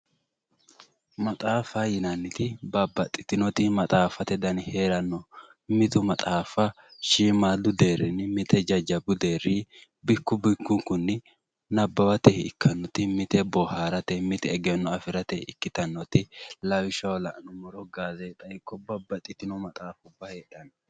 maxaaffate yinanniti babbaxitinnoti maxaaffate dani heeranno mite maxaffa shiimu deerrinni mite jajjabu deerrinni bikku bikkunkunni nabawate ikkanno mite booharate mite egenno afirate ikkitannoti lawishshaho la'nummoro gaazeexa ikko babbaxitino maxaaffa heedhanno